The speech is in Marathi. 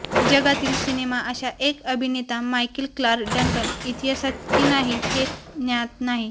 जगातील सिनेमा अशा एक अभिनेता मायकेल क्लार्क डंकन इतिहासात की नाही हे ज्ञात नाही